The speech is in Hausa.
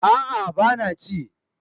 A'a ba na ci